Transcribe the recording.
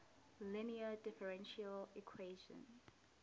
linear differential equation